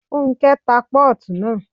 Fúnkẹ́ ta pọ́ọ̀tù naa